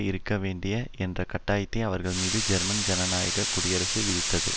இருக்க வேண்டிய என்ற கட்டாயத்தை அவர்கள் மீது ஜெர்மன் ஜனநாயக குடியரசு விதித்தது